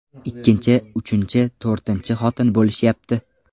Ikkinchi, uchinchi, to‘rtinchi xotin bo‘lishyapti.